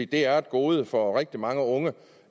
det er et gode for rigtig mange unge